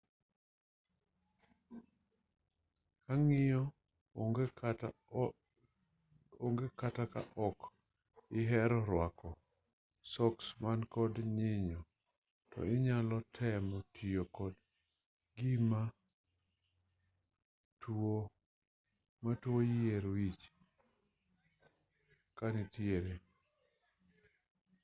kaa nyinyo onge kata ka ok ihero rwako soks man kod nyinyo to inyalo temo tiyo kod gima tuo yier wich kanitiere